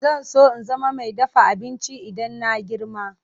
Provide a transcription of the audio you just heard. Zan so in zama mai dafa abinci idan na girma.